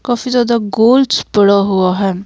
काफी ज्यादा गोल्स पड़ा हुआ है।